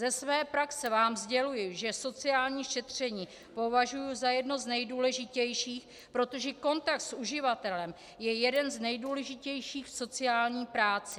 Ze své praxe vám sděluji, že sociální šetření považuji za jedno z nejdůležitějších, protože kontakt s uživatelem je jeden z nejdůležitějších v sociální práci.